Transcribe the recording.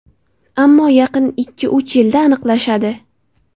Ammo yaqin ikki-uch yilda aniqlashadi.